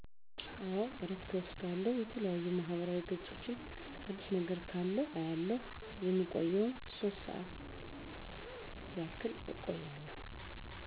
አዎ እረፍት እወስዳለሁ የተለያዩ ማህበራዊ ገፆችን አዲስ ነገር ካለ አያለሁ የምቆየዉም ሶስት ሰዓት ያክልእቆያለሁ